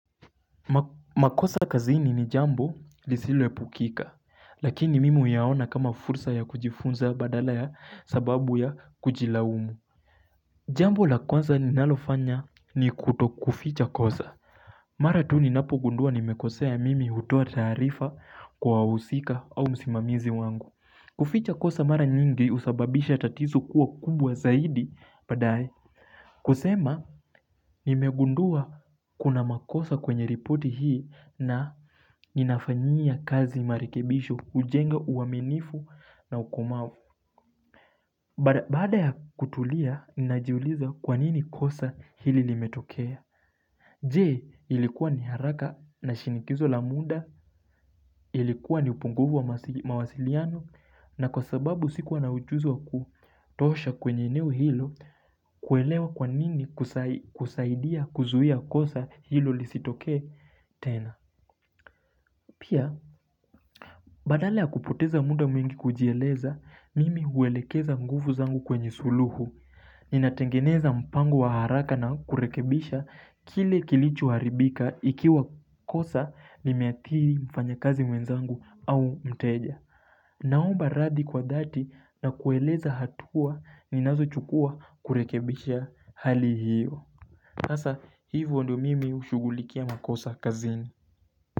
Makosa kazini ni jambo lisilo epukika Lakini mimi huyaona kama fursa ya kujifunza badala ya sababu ya kujilaumu Jambo la kwanza ninalofanya ni kutokuficha kosa Mara tu ninapo gundua nimekosea mimi hutoa taarifa kwa wahusika au msimamizi wangu kuficha kosa mara nyingi husababisha tatizo kuwa kubwa zaidi baadae kusema, nimegundua kuna makosa kwenye ripoti hii na ninafanyia kazi marekebisho, hujenga uaminifu na ukumavu. Baada ya kutulia, ninajiuliza kwanini kosa hili limetokea. Je ilikuwa ni haraka na shinikizo la muda ilikuwa ni upunguvu wa mawasiliano na kwa sababu sikuwa na ujuzi wa kutosha kwenye eneo hilo kuelewa kwanini kusaidia kuzuia kosa hilo lisitokee tena. Pia, badala ya kupoteza muda mwingi kujieleza, mimi huelekeza nguvu zangu kwenye suluhu. Ninatengeneza mpango wa haraka na kurekebisha kile kilicho haribika ikiwa kosa limeathiri mfanyakazi mwenzangu au mteja. Naomba radhi kwa dhati na kueleza hatua ninazochukua kurekebisha hali hiyo. Sasa, hivo ndio mimi hushugulikia makosa kazini.